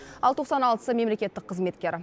ал тоқсан алтысы мемлекеттік қызметкер